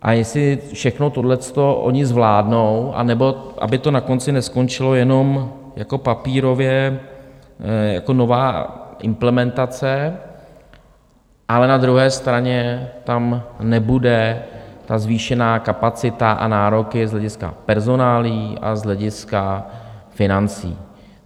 A jestli všechno tohle to oni zvládnou, anebo aby to na konci neskončilo jenom jako papírově jako nová implementace, ale na druhé straně tam nebude ta zvýšená kapacita a nároky z hlediska personálií a z hlediska financí.